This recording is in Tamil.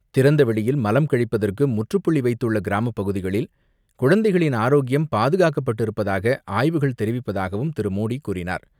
திறந்த வெளியில் மலம் கழிப்பதற்கு முற்றுப்புள்ளி வைத்துள்ள கிராமப்பகுதிகளில் குழந்தைகளின் ஆரோக்கியம் பாதுகாக்கப்பட்டிருப்பதாக ஆய்வுகள் தெரிவிப்பதாகவும் திரு மோடி கூறினார்.